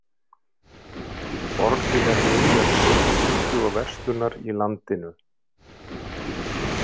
Borgin er miðja stjórnsýslu og verslunar í landinu.